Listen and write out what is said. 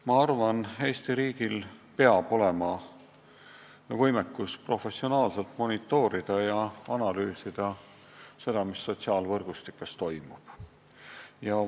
Ma arvan, et Eesti riigil peab olema võimekus professionaalselt monitoorida ja analüüsida seda, mis sotsiaalvõrgustikes toimub.